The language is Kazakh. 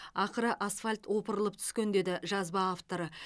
ақыры асфальт опырылып түскен деді жазба авторы